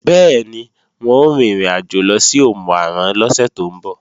Bẹ́ẹ̀ni, wọn ó rin ìrìnàjò lọ sí Òmù-àrán lọ́sẹ̀ tó ń bọ̀